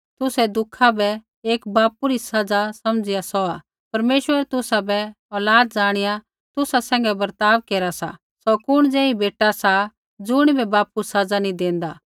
तुसै दुखा बै एक पिता री सज़ा समझ़िया सौहा परमेश्वर तुसाबै औलाद ज़ाणिया तुसा सैंघै बर्ताव केरा सा सौ कुण ज़ेही बेटा सा ज़ुणिबै पिता सज़ा नैंई देंदा